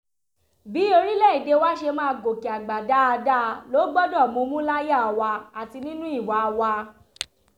bí orílẹ̀‐èdè wa ṣe máa gòkè àgbà dáadáa ló gbọ́dọ̀ mumú láyà wa àti nínú ìwà wa